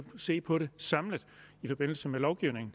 se på det samlet i forbindelse med lovgivningen